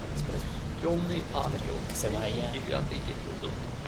темный ангел тридцать девятый эпизод